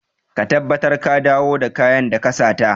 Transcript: Ka tabbatar da ka dawo da kayan da ka sata!